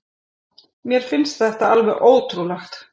Mér finnst þetta alveg ótrúlegt